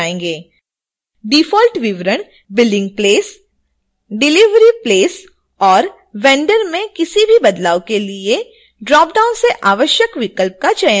default विवरण billing place delivery place और vendor में किसी भी बदलाव के लिए ड्रॉपडाउन से आवश्यक विकल्प का चयन करें